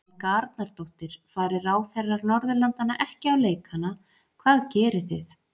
Helga Arnardóttir: Fari ráðherrar Norðurlandanna ekki á leikana hvað gerið þið?